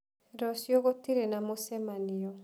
Rũciũ gũtirĩ na mũcemanio.